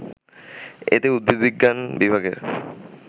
এতে উদ্ভিদবিজ্ঞান বিভাগের